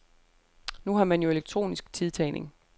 Nu har man jo elektronisk tidtagning.